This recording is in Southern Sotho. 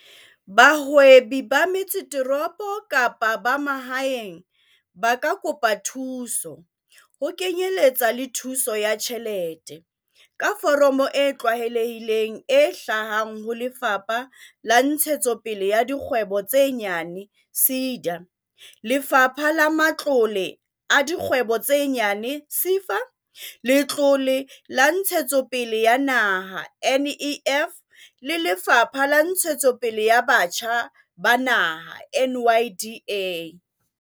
Bahwebi ba metsesetoropo kapa ba mahaeng ba ka kopa thuso, ho kenyeletsa le thuso ya tjhelete, ka foromo e tlwaelehileng e hlahang ho Lefapha la Ntshetsopele ya Dikgwebo tse Nyane, SEDA, Lefapha la Matlole a Dikgwebo tse Nyane, SEFA, Letlole la Ntshetsopele ya Naha, NEF, le Lefapha la Ntshetsopele ya Batjha ba Naha, NYDA.